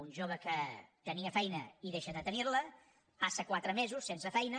un jove que tenia feina i deixa de tenir ne passa quatre mesos sense feina